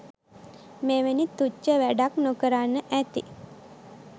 මෙවැනි තුච්ච වැඩක් නොකරන්න ඇති.